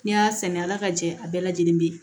N'i y'a sɛnɛ ala ka jɛ a bɛɛ lajɛlen bɛ ye